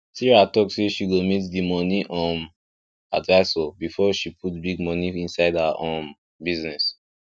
sarah talk say she go meet di moni um advisor before she put big moni inside her um business